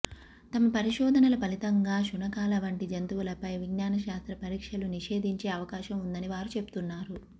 తమ పరిశోధనల ఫలితంగా శునకాలవంటి జంతువులపై విజ్ఞానశాస్త్ర పరీక్షలు నిషేధించే అవకాశం ఉందని వారు చెబుతున్నారు